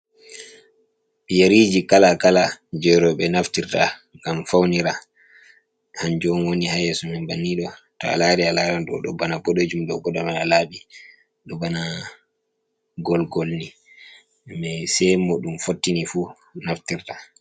Yeriji kala kala je roɓe naftirta gam faunira, hanjum woni hayesu men bannido to a lari a larado dobana bodejum do goda mana labi do bana golgolni mai se mo dum fottini fu naftirta.